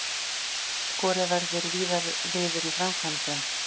Skorið verður víðar niður í framkvæmdum